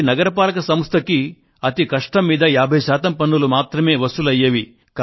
ప్రతి నగరపాలక సంస్థకూ అతి కష్టం మీద 50 శాతం పన్నులు మాత్రమే వసూలయ్యేవి